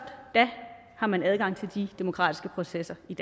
da har man adgang til de demokratiske processer i